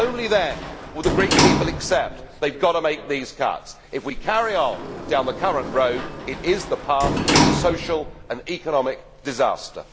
Only then will the Greek people accept they have got to make these cuts. If we carry on down the current road, it is the path to social and economic disaster.